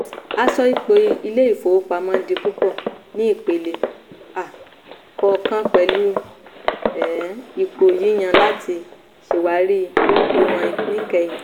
a sọ ipò ilé-ìfowópamọ́ di púpọ̀ ní ìpele um kọ̀ọ̀kan pẹ̀lú um ipò yíyan láti ṣàwárí ìwọn níkẹyìn.